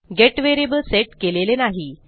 gate variable set केलेले नाही